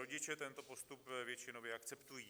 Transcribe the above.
Rodiče tento postup většinově akceptují.